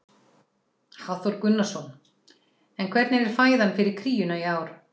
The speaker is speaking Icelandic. Hafþór Gunnarsson: En hvernig er fæðan fyrir kríuna í ár?